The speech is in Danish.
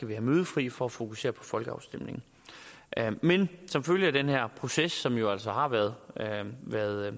være mødefri for at fokusere på folkeafstemningen men som følge af den her proces som jo altså har været været